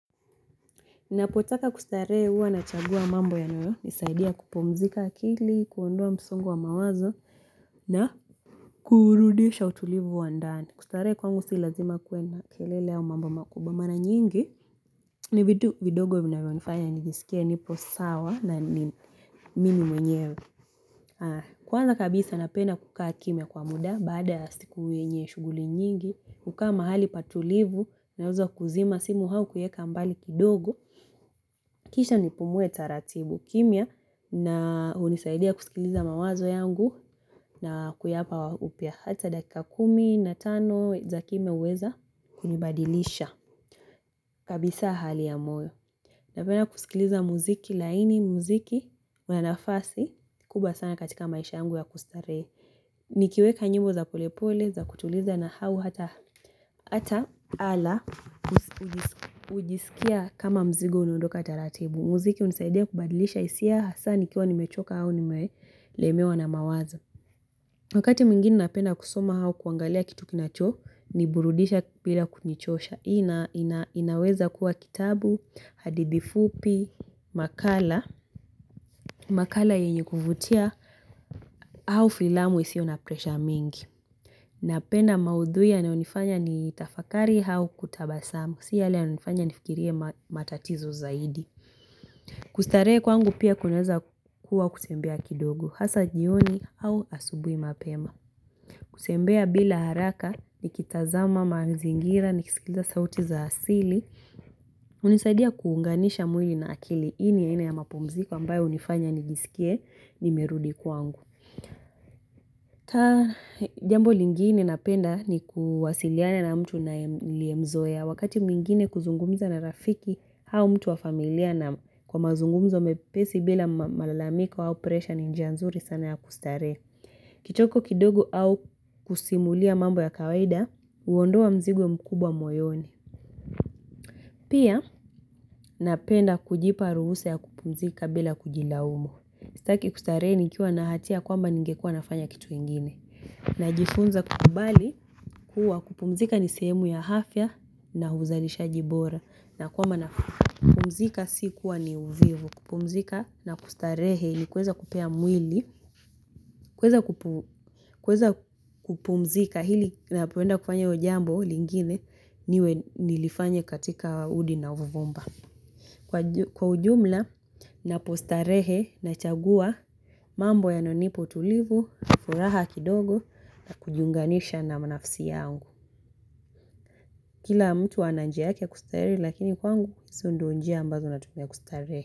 Napotaka kustarehe huwa nachagua mambo yanoyo, nisaidia kupumzika akili, kuondoa msongo wa mawazo na kurudisha utulivu wa ndani. Kustarehe kwangu si lazima kuwe na kelele au mambo makubwa. Mara nyingi ni vitu vidogo vinavyonifanya nijisikie nipo sawa na mimi mwenyewe. Kwanza kabisa napenda kukaa kimya kwa muda baada ya siku wenye shughuli nyingi, kukaa mahali patulivu naweza kuzima simu au kuiweka mbali kidogo. Kisha nipumuwe taratibu kimya na unisaidia kusikiliza mawazo yangu na kuyapa upya hata dakika kumi na tano za kimya huweza kunibadilisha kabisa hali ya moyo. Napenda kusikiliza muziki laini muziki mwanafasi kubwa sana katika maisha yangu ya kustarehe. Nikiweka nyimbo za polepole za kutuliza na hau hata ala ujisikia kama mzigo unaondoka taratibu. Muziki unisaidia kubadilisha hisia hasa nikiwa nimechoka au nimelemewa na mawazo. Wakati mwingine napenda kusoma au kuangalia kitu kinacho, niburudisha bila kunichosha. Inaweza kuwa kitabu, hadithi fupi, makala. Makala yenye kuvutia au filamu isio na presha mingi. Napenda maudhui yanayonifanya ni tafakari hau kutabasamu, si yale yanayonifanya ni fikirie matatizo zaidi. Kustarehe kwangu pia kunaweza kuwa kuzembea kidogo, hasa jioni au asubuhi mapema. Kuzembea bila haraka, nikitazama mazingira, nikisikiza sauti za asili, unisaidia kuunganisha mwili na akili hii ni aina ya mapumziko ambayo hunifanya nijisikie nimerudi kwangu. Ta jambo lingine napenda ni kuwasiliana na mtu niliyemzoea wakati mwingine kuzungumza na rafiki au mtu wa familia na kwa mazungumzo mepesi bila malalamiko au presha ni njia nzuri sana ya kustarehe. Kichoko kidogo au kusimulia mambo ya kawaida huondoa mzigo mkubwa moyoni. Pia napenda kujipa ruhusa ya kupumzika bila kujilaumu sitaki kustarehe nikiwa na hatia kwamba ningekuwa nafanya kitu ingine. Inaweza kuwa kitabu, hadithi fupi, makala. Na uzalishaji bora na kwamba na kupumzika si kuwa ni uvivu. Kupumzika na kustarehe ni kuweza kupea mwili. Kuweza kupumzika hili unapoenda kufanya jambo lingine niwe nilifanye katika udi na uvumba. Kwa ujumla napostarehe nachagua mambo yanayonipo utulivu furaha kidogo. Na kujiunganisha na nafisi yangu. Kila mtu ana njia yake ya kustarehe. Lakini kwangu ndio njia ambazo natumia kustarehe.